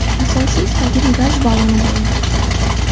Asosiy istagim gaz balloni bo‘ldi.